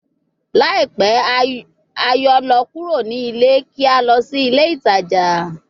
Laipẹ a yoo lọ kuro ni ile ki a lọ si ile itaja